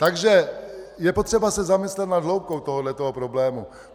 Takže je potřeba se zamyslet nad hloubkou tohoto problému.